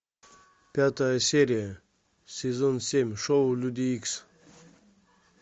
пятая серия сезон семь шоу люди икс